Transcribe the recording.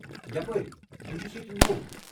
یپٲرۍ، بہٕ چھس ییٚتہِ نوٚو۔